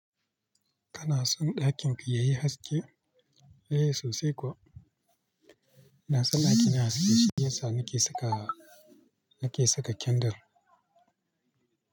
Kana son ɗakin ki yayi haske? Eh sosai kuwa. Ina son ɗaki na yayi haske shiyasa nake saka, nake saka candle.